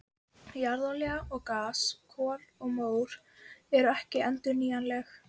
Jarðolía og gas, kol og mór eru ekki endurnýjanleg.